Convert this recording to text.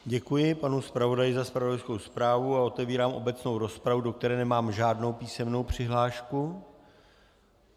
Děkuji panu zpravodaji za zpravodajskou zprávu a otevírám obecnou rozpravu, do které nemám žádnou písemnou přihlášku.